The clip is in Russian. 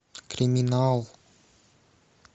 криминал